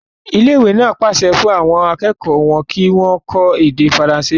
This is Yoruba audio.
Ilé ìwé náà pàṣẹ fún àwọn akẹ́kọ̀ọ́ wọn kí wọ́n kọ́ èdè faransé.